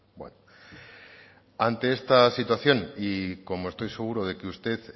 bueno ante esta situación y como estoy seguro de que a usted